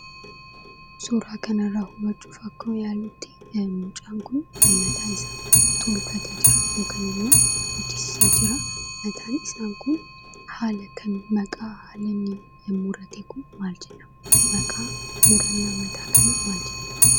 Suuraa kana irraa hubachuuf akka yaallutti mucaan kun mataa isaa tolfatee Jira yookiin immoo hojjechiisee jira akkasumas haala inni ittiin rifeensa isaa sirreeffate kun maal jedhama